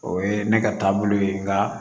O ye ne ka taabolo ye nka